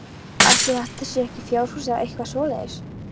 Ætli þetta séu ekki fjárhús eða eitthvað svoleiðis?